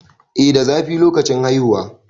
eh da zafi lokacin haihuwa